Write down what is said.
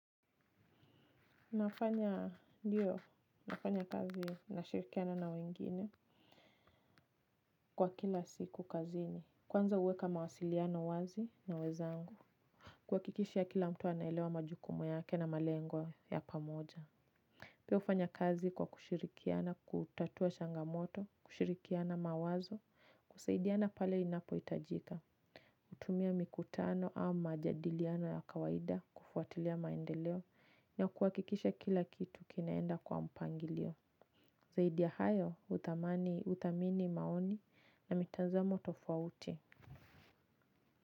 Nafanya ndiyo nafanya kazi na shirikiana na wengine. Kwa kila siku kazini kwanza huweka mawasiliano wazi na wezangu. Kuha kikisha kila mtu anaelewa majukumu yake na malengo ya pamoja. Pia ufanya kazi kwa kushirikiana, kutatua shangamoto, kushirikiana mawazo, kusaidiana pale inapohitajika. Utumia mikutano au majadiliano ya kawaida kufuatilia maendeleo na kuhakikisha kila kitu kinaenda kwa mpangilio. Zaidi ya hayo uthamani uthamini maoni na mitanzamo tofauti.